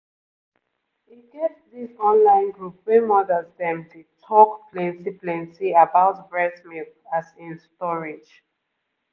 e get this online group wey mothers dem dey talk plenty plenty about breast milk as in storage